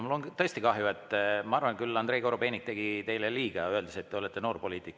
Mul on tõesti kahju, ma arvan, et Andrei Korobeinik tegi teile liiga, öeldes, et te olete noorpoliitik.